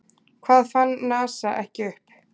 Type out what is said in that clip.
Hvað fann NASA ekki upp?